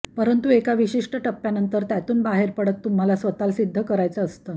परंतु एका विशिष्ट टप्प्यानंतर त्यातून बाहेर पडत तुम्हाला स्वतःला सिद्ध करायचं असतं